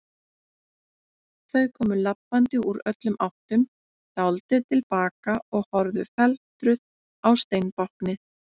Þau komu labbandi úr öllum áttum, dáldið til baka og horfðu felmtruð á steinbáknið.